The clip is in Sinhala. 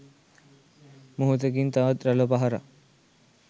මොහොතකින් තවත් රළ පහරක්